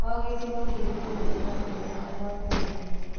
O gĩcigo kĩrĩ kũndũ kwa mwanya na gwa kũgegania.